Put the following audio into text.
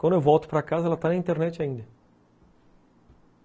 Quando eu volto para casa, ela está na internet ainda.